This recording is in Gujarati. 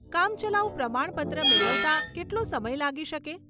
કામચલાઉ પ્રમાણપત્ર મેળવતાં કેટલો સમય લાગી શકે?